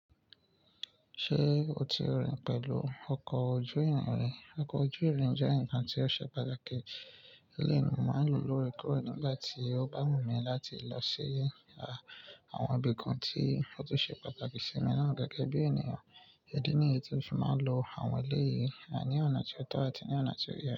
Ṣé o ti rìn pẹ̀lú ọkọ̀ ojú ìrìn ri? Ọkọ̀ ojú ìrìn jẹ́ ǹkan tí ó ṣe pàtàkì. Ilé ni mo máa ń lò ó lórekore nígbà tí ó bá wù mí láti lọ sí, à, àwọn ibì kan tí ó tún ṣe pàtàkì sí mi lonàá gẹ́gẹ́ bí ènìyàn. Idí ní èyí tí o fi máa ń lo àwọn ilé yìí, à, ní ọ̀nà tí ó tọ́ àti ní ọ̀nà tí ó yẹ.